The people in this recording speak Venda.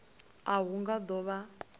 a hu nga do vha